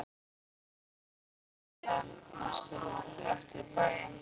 Við tókum síðan næstu rútu aftur í bæinn.